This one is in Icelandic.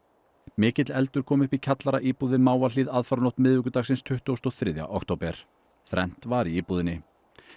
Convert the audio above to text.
mikill eldur kom upp í kjallaraíbúð við Mávahlíð aðfaranótt miðvikudagsins tuttugasta og þriðja október þrennt var í íbúðinni